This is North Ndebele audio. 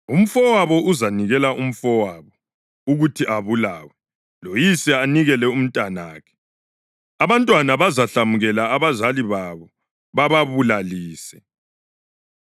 Umfowabo uzanikela umfowabo ukuthi abulawe, loyise anikele umntanakhe. Abantwana bazahlamukela abazali babo bababulalise.